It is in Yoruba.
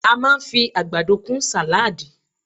A máa fi àgbàdo kún sàláàdì